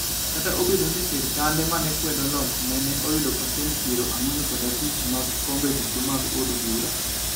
Kata obedo ni sirkande ma ne kwedo lochne ne oyudo pasent piero ang'wen kod abich mag kombe duto mag od bura.